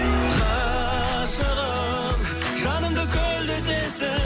ғашығым жанымды көлдетесің